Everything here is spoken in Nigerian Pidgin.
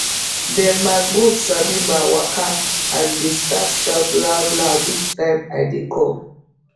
dem ma goat sabi ma waka and dey start shout loud loud each time i de come